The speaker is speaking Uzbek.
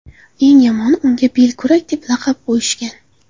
Eng yomoni unga belkurak deb laqab qo‘yishgan.